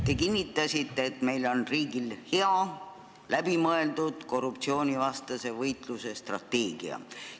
Te kinnitasite, et meie riigil on hea, läbimõeldud korruptsioonivastase võitluse strateegia.